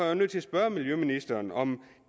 jo nødt til at spørge miljøministeren om